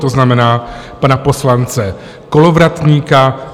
To znamená pana poslance Kolovratníka.